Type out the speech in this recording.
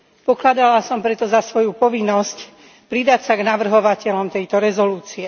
Pokladala som preto za svoju povinnosť pridať sa k navrhovateľom tejto rezolúcie.